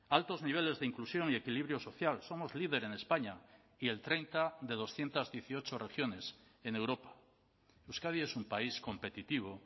altos niveles de inclusión y equilibrio social somos líder en españa y el treinta de doscientos dieciocho regiones en europa euskadi es un país competitivo